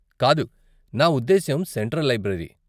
కాదు, నా ఉద్దేశ్యం సెంట్రల్ లైబ్రరీ.